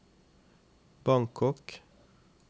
Bangkok